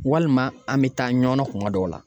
Walima an mi taa ɲɔnɔn kuma dɔw la